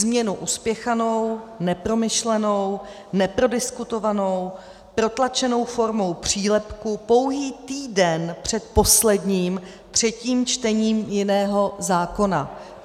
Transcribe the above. Změnu uspěchanou, nepromyšlenou, neprodiskutovanou, protlačenou formou přílepku pouhý týden před posledním třetím čtením jiného zákona."